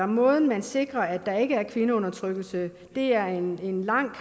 måden man sikrer at der ikke er kvindeundertrykkelse det er en lang